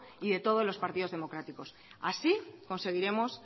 y de todos los partidos democráticos así conseguiremos